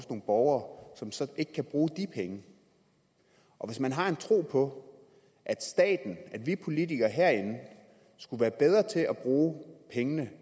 borgere som så ikke kan bruge de penge og hvis man har en tro på at vi politikere herinde skulle være bedre til at bruge pengene